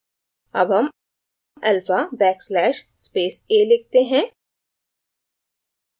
अब हम alpha backslash space a लिखते हैं